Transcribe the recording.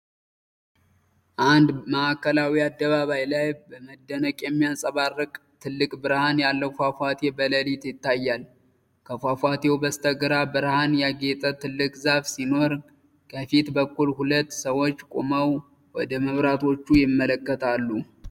አንድ ማዕከላዊ አደባባይ ላይ በመደነቅ የሚያንፀባርቅ ትልቅ ብርሃን ያለው ፏፏቴ በሌሊት ይታያል። ከፏፏቴው በስተግራ ብርሃን ያጌጠ ትልቅ ዛፍ ሲኖር፣ ከፊት በኩል ሁለት ሰዎች ቆመው ወደ መብራቶቹ ይመለከታሉ።